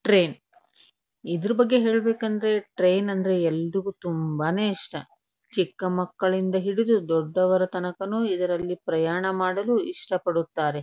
Train ಇದರ ಬಗ್ಗೆ ಹೇಳ್ಬೇಕು ಅಂದ್ರೆ ಟ್ರೈನ್ ಅಂದ್ರೆ ಎಲ್ಲಾರಿಗೂ ತುಂಬಾ ನೇ ಇಷ್ಟ. ಚಿಕ್ಕಮಕ್ಕಳಿಂದ ಹಿಡಿದು ದೊಡ್ಡವರ ತನಕನು ಇದರಲ್ಲಿ ಪ್ರಯಾಣ ಮಾಡಲು ಇಷ್ಟ ಪಡುತ್ತಾರೆ.